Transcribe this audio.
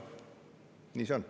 Nii see on.